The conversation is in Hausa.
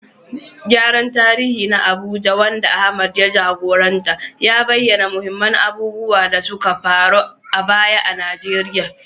Gyaran tarihi na Abuja, wanda Ahmad ya jagoranta, ya bayyana muhimman abubuwan da suka faru a baya a Najeriya